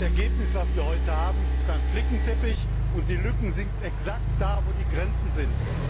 Das Ergebnis, das wir heute haben, ist ein Flickenteppich und die Lücken sind exakt da, wo die Grenzen sind.